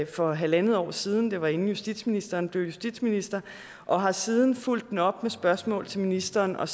for halvandet år siden det var inden justitsministeren blev justitsminister og har siden fulgt den op med spørgsmål til ministeren og